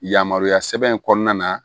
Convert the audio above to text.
Yamaruya sɛbɛn in kɔnɔna na